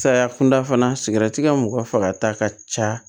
Saya kunda fana sigira tika mɔgɔ fagata ka ca